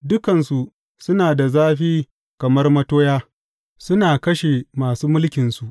Dukansu suna da zafi kamar matoya; suna kashe masu mulkinsu.